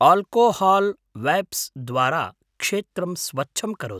Alcohol wipes द्वारा क्षेत्रं स्वच्छं करोतु।